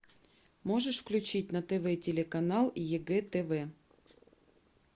можешь включить на тв телеканал егэ тв